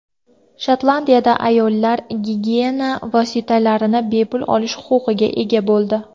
Shotlandiyada ayollar gigiyena vositalarini bepul olish huquqiga ega bo‘ldi.